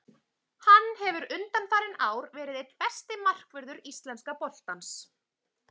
Hann hefur undanfarin ár verið einn besti markvörður íslenska boltans.